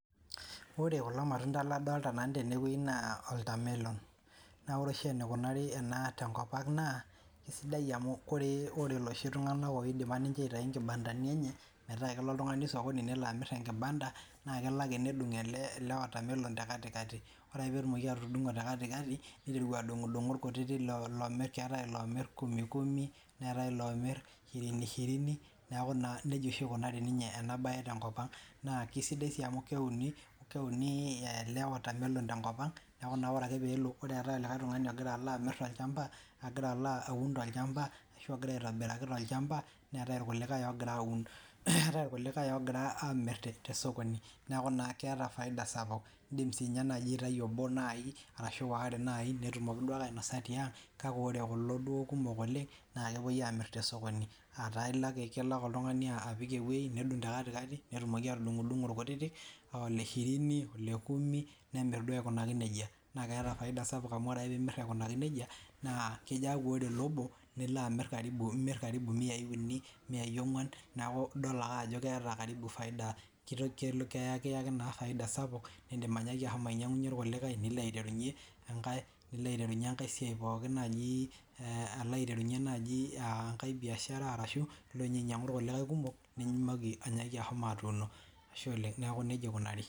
ore kulo matunda ladolita nanu tene wojii naa oltamelon naa ore oshi eneikunari ana tenkop ang naa eisidai amuu ore iloshi tungana oidipa ninche aitayu inkibandani enye metaa kelo oltungani osokoni nelo amir imatunda naa kelo ake nedung ele watermelon tekatikati ore ake pee etumoki atudungo tekatikati neiteru adungudungu ilkutiti lomir keetai iloomir kumi kumi neetai ilomirr shirini shirini neeku naa nejia oshi ekunari ninye ena bae tenkop ang naa keisidai sii amuu keuni ele watermelon tenkop ang neeku ore ake peelo ore eetae olikai tungani ogira amirr tolchamba ogira aun tolchamba arashu ogira aitobiraki tolchamba neetai ilkulikai ogira aamir tosokoni neeku naa keeta faida sapuk niindim naaji sinye aitayu obo ashu waare naii oponu naaji ainosaa tiang kake ore kulo kumok oleng na kepoi amiir tosokoni ataa ilo ake oltungani apik ewoji nedung tekatikati netumoki atudungo dungo ilkutitik le shirini le kumi nemirr duo aikunaki nejia naa ketaa faida sapuk amuu ore ake piimir aikunaki nejia naa kejoo aku ore ele obo nilo amir karibu imiai ongwan neeku idol ake ajo keeta karibu faida ekiaki naa faida sapuk niindim ashomo ainyangunye ilkulikae niindim aiterunye enkae siai pookin naji natii alo aiterunye naaji enkae biashara ashu ilo nyee ainyangunye ilkulikae kumok nimooki iyie ashomo atuuno ashe oleng neeku nejia eikunari